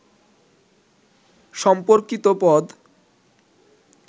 সম্পর্কিত পদ